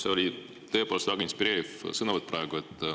See oli praegu tõepoolest väga inspireeriv sõnavõtt.